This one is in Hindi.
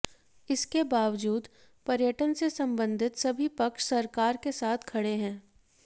इसके बावजूद पर्यटन से संबंधित सभी पक्ष सरकार के साथ खड़े हैं